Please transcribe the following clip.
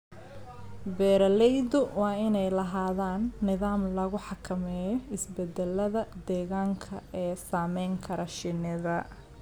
Beeralaydu waa inay lahaadaan nidaam lagu xakameeyo isbeddellada deegaanka ee saamayn kara shinnida.